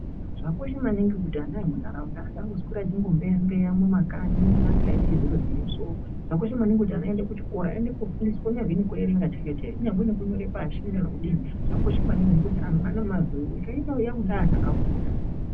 Zvakakosha maningi kuti ana emuntaraunda asangombeya mbeya mumakanyi asikaiti zviro zvine zvakakosha maningi kuti ana aende uchiko aende kofundiswa kunyazi nekuerenga chaiko kunyangwe nekunyore pashi kana kudini zvakakosha maningi ngekuti anhu aane nyika ino yaakuda anhu akafunda.